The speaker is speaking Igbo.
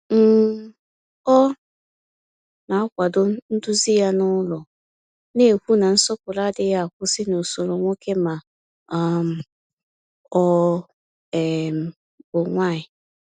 um Ọ na-akwado nduzi ya n’ụlọ, na-ekwu na nsọpụrụ adịghị akwụsị n’usoro nwoke ma um ọ um bụ nwanyị.